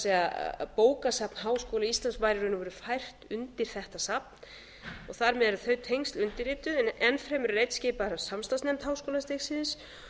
er bókasafn háskóla íslands var í raun og veru fært undir þetta safn og þar með eru þau tengsl undirrituð enn fremur er einn skipaður af samstarfsnefnd háskólastigsins